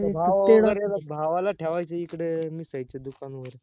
भावावा वगेर ला भावाला ठेवायचं इकड मिसळीच्या दुकानवर